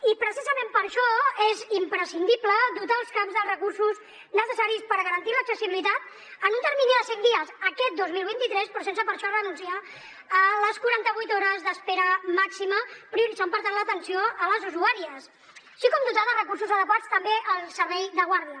i precisament per això és imprescindible dotar els caps dels recursos necessaris per garantir l’accessibilitat en un termini de cinc dies aquest dos mil vint tres però sense per això renunciar a les quaranta vuit hores d’espera màxima prioritzant per tant l’atenció a les usuàries així com dotar de recursos adequats també el servei de guàrdia